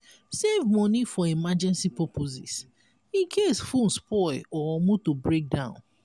save money for emergency purposes incase phone spoil or motor break down